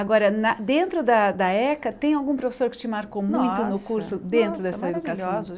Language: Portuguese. Agora, na dentro dentro da da ECA, tem algum professor que te marcou muito no curso dentro dessa educação